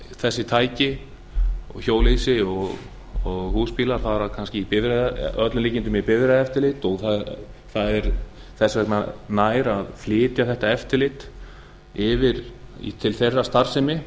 þessi tæki hjólhýsi og húsbílar fara að öllum líkindum í bifreiðaeftirlit og það væri þess vegna nær að flytja þetta eftirlit til þeirrar starfsemi